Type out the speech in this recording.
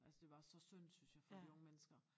Altså det var så synd synes jeg for de unge mennesker